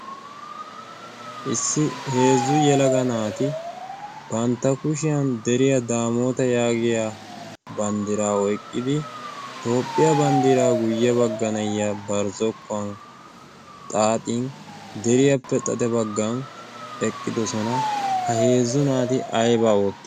issi heezzu yelaga naati bantta kushiyan deriyaa daamoota yaagiya banddiraa oyqqidi toopphiyaa banddiraa guyye bagganayya barzzokkuwan xaaxin deriyaappe xate baggan eqqidosona ha heezzu naati aybaa ootta